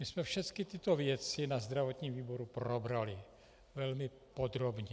My jsme všechny tyto věci na zdravotním výboru probrali velmi podrobně.